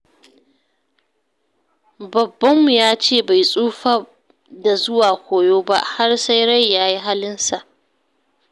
Babbanmu ya ce bai tsufa da zuwa koyo ba, har sai rai ya yi halinsa.